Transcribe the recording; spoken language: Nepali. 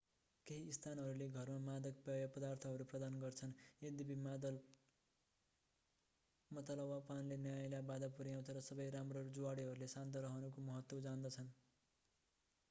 केही स्थानहरूले घरमा मादक पेय पदार्थहरू प्रदान गर्छन्। यद्यपि मतवालापनले न्यायलाई बाधा पुर्‍याउँछ र सबै राम्रा जुवाडेहरूले शान्त रहनुको महत्त्व जान्दछन्।